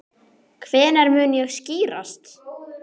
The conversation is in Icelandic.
Hvenær mun það skýrast?